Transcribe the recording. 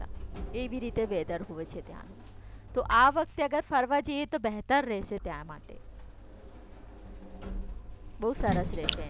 એવી રીતે વેધર હોવે છે ત્યાંનું તો આ વખતે અગર ફરવા જઈએ તો બેહતર રહેશે ત્યાં માટે